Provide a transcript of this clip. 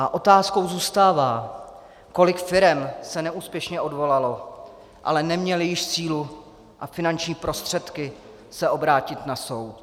A otázkou zůstává, kolik firem se neúspěšně odvolalo, ale neměly již sílu a finanční prostředky se obrátit na soud.